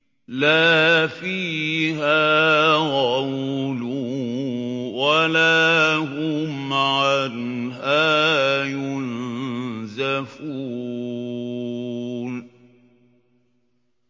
لَا فِيهَا غَوْلٌ وَلَا هُمْ عَنْهَا يُنزَفُونَ